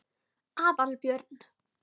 Aðalbjörn